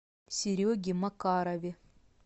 сереге макарове